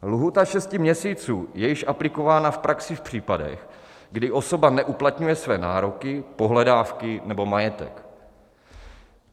Lhůta šesti měsíců je již aplikována v praxi v případech, kdy osoba neuplatňuje své nároky, pohledávky nebo majetek.